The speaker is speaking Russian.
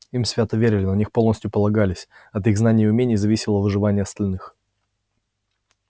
им свято верили на них полностью полагались от их знаний и умений зависело выживание остальных